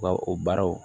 Ka o baaraw